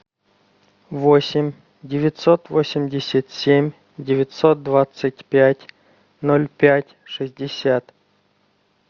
восемь девятьсот восемьдесят семь девятьсот двадцать пять ноль пять шестьдесят